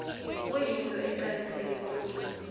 kuyinto eqakatheke khulu